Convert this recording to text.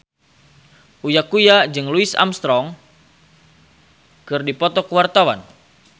Uya Kuya jeung Louis Armstrong keur dipoto ku wartawan